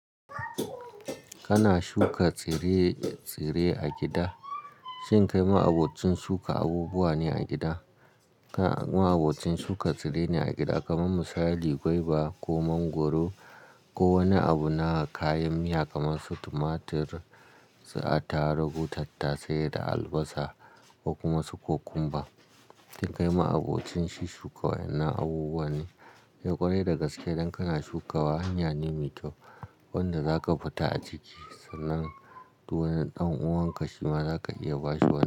Kana shuka tsire-tsire a gida, shin kai ma'abocin shuka abubuwa ne a gida? Kai ma'abocin shuka tsire ne a gida kamar misali gwaiba ko mangwaro ko wani abu na kayan miya kamar su tumatur, attaruhu, tattasai da albasa ko kuma su kokumba. Shin kai ma'abocin shu shuka waɗannan abubuwa ne? Kai ƙwarai da gaske idan kana shukawa, hanya ne mai kyau wanda zaka fita a ciki sannan duk wani ɗan'uwanka shi ma zaka iya bashi waya.